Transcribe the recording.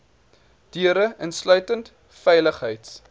deure insluitend veiligheids